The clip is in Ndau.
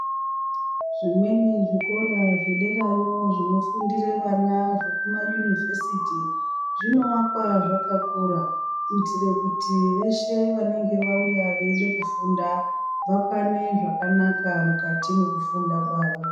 Zvimweni zvikora zvedera yo zvinofundira vana zvekuma yunivesiti zvinovakwa zvakakura kuitira kuti veshe vanenge vauya veida kufunda vakwane zvakanaka mukati mwekufunda kwavo.